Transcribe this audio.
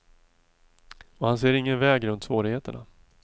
Och han ser ingen väg runt svårigheterna.